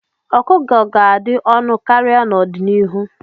Ọkụkọ ga-adị ọnụ karịa n'ọdịnihu.